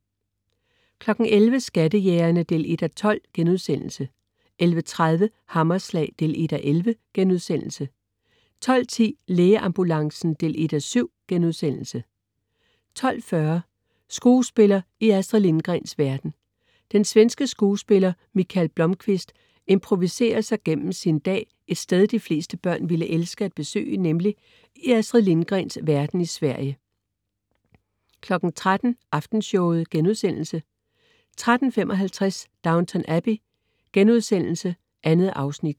11.00 Skattejægerne 1:12* 11.30 Hammerslag 1:11* 12.10 Lægeambulancen 1:7* 12.40 Skuespiller i Astrid Lindgrens verden. Den svenske skuespiller Michael Blomqvist improviserer sig gennem sin dag et sted, de fleste børn ville elske at besøge, nemlig i Astrid Lindgrens verden i Sverige 13.00 Aftenshowet* 13.55 Downton Abbey.* 2 afsnit